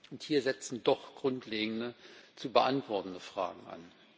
Und hier setzen doch grundlegende zu beantwortende Fragen an.